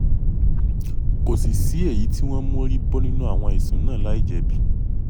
kò sì sí èyí tí wọ́n mórí bọ́ nínú àwọn ẹ̀sùn náà láì jẹ̀bi